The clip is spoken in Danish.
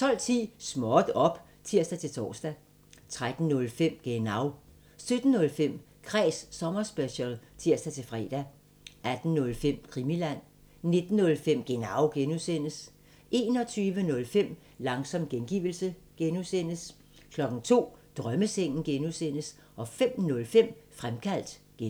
12:10: Småt op! (tir-tor) 13:05: Genau 17:05: Kræs sommerspecial (tir-fre) 18:05: Krimiland 19:05: Genau (G) 21:05: Langsom gengivelse (G) 02:00: Drømmesengen (G) 05:05: Fremkaldt (G)